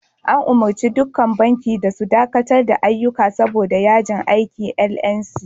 An umurci dukkan banki da su dakatar da ayyuka saboda yajin aikin "NLC".